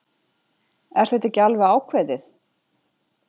Er þetta ekki alveg ákveðið?